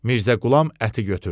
Mirzə Qulam əti götürdü.